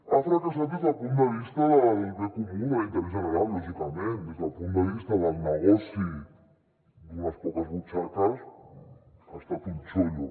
ha fracassat des del punt de vista del bé comú de l’interès general lògicament des del punt de vista del negoci d’unes poques butxaques ha estat un chollo